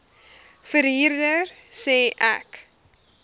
verhuurder sê ek